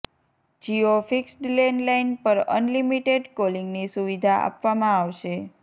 Jio fixed landline પર unlimited કોલિંગની સુવિધા આપવામાં આવશે